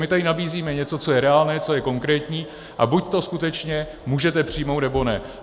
My tady nabízíme něco, co je reálné, co je konkrétní, a buď to skutečně můžete přijmout, nebo ne.